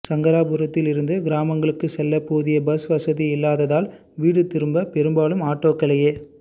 சங்கராபுரத்திலிருந்து கிராமங்களுக்கு செல்ல போதிய பஸ் வசதி இல்லாததால் வீடு திரும்ப பெரும்பாலும் ஆட்டோக்களையே